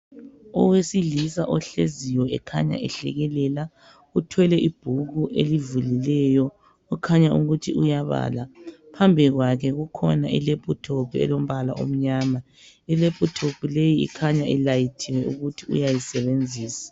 Owesilisa ohleziyo, okhanya ehlekelela. Kukhanya ibhuku elivuliweyo, okutshengisanl ukuthi uyabala. Phambi kwakhe kukhona ilephuthophu elombala omnyama . Ilephuthophu le, ikhanya ilayithiwe, okutshengisa ukuthi uyayisebenzisa.